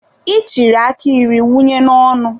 I chịrị aka iri wunye n'ọnụ.